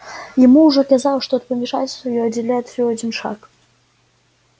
ему уже казалось что от помешательства его отделяет всего один шаг